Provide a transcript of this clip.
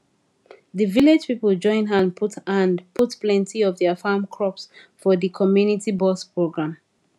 the village people join hand put hand put plenty of their farm crops for the community box program